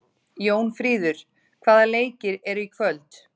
Jónfríður, hvaða leikir eru í kvöld?